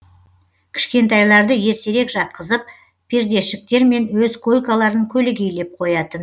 кішкентайларды ертерек жатқызып пердешіктермен өз койкаларын көлегейлеп қоятын